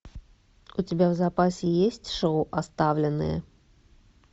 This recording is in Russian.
у тебя в запасе есть шоу оставленный